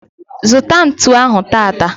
Zụta ntụ ahụ tata